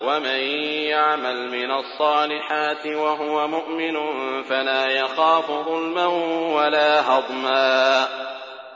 وَمَن يَعْمَلْ مِنَ الصَّالِحَاتِ وَهُوَ مُؤْمِنٌ فَلَا يَخَافُ ظُلْمًا وَلَا هَضْمًا